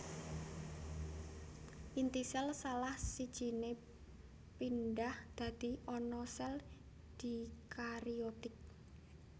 Inti sél salah sijine pindhah dadi ana sel dikariotik